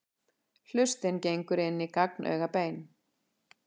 Hlustin gengur inn í gagnaugabein.